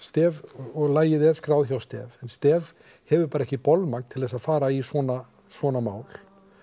og lagið er skráð hjá STEF en STEF hefur bara ekki bolmagn til þess að fara í svona svona mál